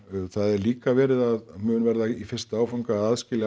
það er líka verið að mun verða í fyrsta áfanga að aðskilja